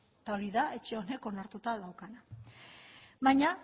eta hori da etxe honek onartuta daukala baina